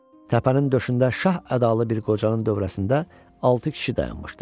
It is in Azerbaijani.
Təpənin döşündə şah ədalı bir qocanın dövrəsində altı kişi dayanmışdı.